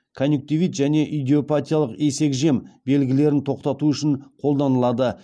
конъюнктивит және идиопатиялық есекжем белгілерін тоқтату үшін қолданылады